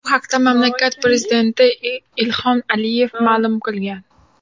Bu haqda mamlakat prezidenti Ilhom Aliyev ma’lum qilgan .